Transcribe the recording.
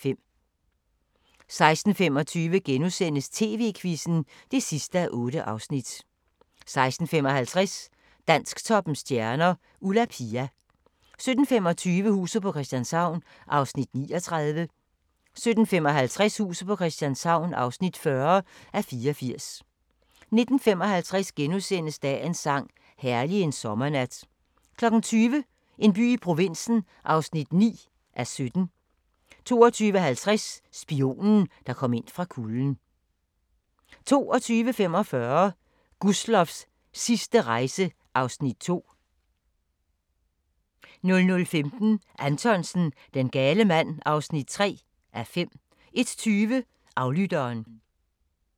16:25: TV-Quizzen (8:8)* 16:55: Dansktoppens stjerner: Ulla Pia 17:25: Huset på Christianshavn (39:84) 17:55: Huset på Christianshavn (40:84) 19:55: Dagens sang: Herlig en sommernat * 20:00: En by i provinsen (9:17) 20:55: Spionen, der kom ind fra kulden 22:45: Gustloffs sidste rejse (Afs. 2) 00:15: Anthonsen - Den gale mand (3:5) 01:20: Aflytteren